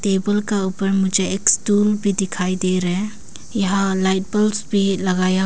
table का ऊपर मुझे एक स्टूल भी दिखाई दे रहे है यहां लाइट बल्ब्स भी लगाया--